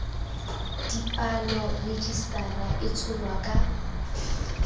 dipalo rejisetara e tsholwa ka